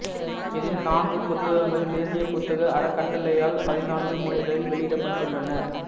இதில் நான்கு புத்தகங்கள் தேசிய புத்தக அறக்கட்டளையால் பதினான்கு மொழிகளில் வெளியிடப்பட்டுள்ளன